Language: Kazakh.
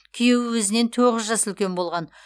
күйеуі өзінен тоғыз жас үлкен болған